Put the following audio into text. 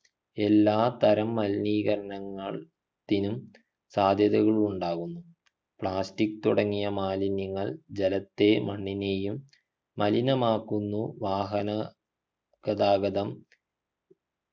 എല്ലാ തരം മലിനീകരണങ്ങൾ ത്തിനും സാധ്യതകളുണ്ടാകുന്നു plastic തുടങ്ങിയ മാലിന്യങ്ങൾ ജലത്തെ മണ്ണിനെയും മലിനമാക്കുന്നു വാഹന ഗതാഗതം